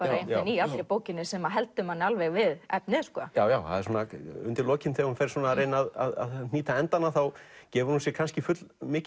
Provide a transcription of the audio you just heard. í allri bókinni sem heldur manni alveg við efnið það er undir lokin þegar hún fer að reyna að hnýta endana gefur hún sér kannski full mikinn